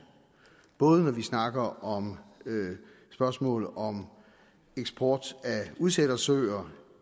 når vi snakker om spørgsmål om eksport af udsættersøer